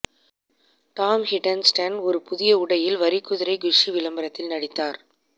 Tom Hiddleston ஒரு புதிய உடையில் வரிக்குதிரை குஸ்ஸி விளம்பரத்தில் நடித்தார்